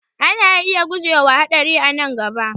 Ana iya guje wa haɗari a nan gaba